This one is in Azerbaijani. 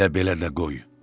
Elə belə də qoy.